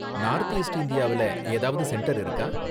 North east இந்தியாவுல ஏதாவது centre இருக்கா?